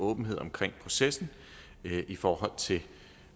åbenhed omkring processen i forhold til